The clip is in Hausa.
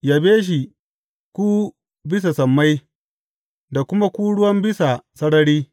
Yabe shi, ku bisa sammai da kuma ku ruwan bisa sarari.